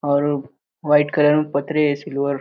और white colour में पत्रे है सिल्वर --